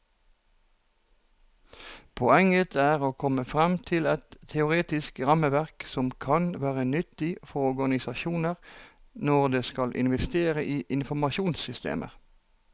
Poenget er å komme frem til et teoretisk rammeverk som kan være nyttig for organisasjoner når de skal investere i informasjonssystemer.